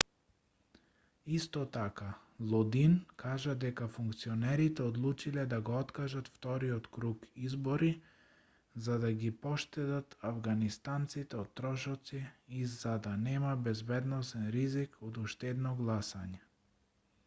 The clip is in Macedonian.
исто така лодин кажа дека функционерите одлучиле да го откажат вториот круг избори за да ги поштедат авганистанците од трошоци и за да нема безбедносен ризик од уште едно гласање